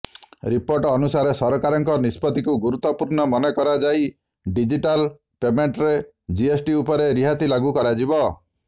report ଅନୁସାରେ ସରାକାରଙ୍କ ନିଷ୍ପତ୍ତିକୁ ଗୁରୁତ୍ୱପୂର୍ଣ୍ଣ ମନେକରାଯାଇ ଡିଜିଟାଲ ପେମେଣ୍ଟରେ ଜିଏସ୍ଟି ଉପରେ ରିହାତି ଲାଗୁ କରାଯିବ